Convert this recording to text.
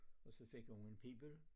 Og så fik hun en pibel